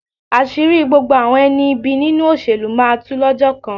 Àṣírí gbogbo àwọn ẹni ibi nínú ìṣèlú máa tu lọ́jọ́ kan.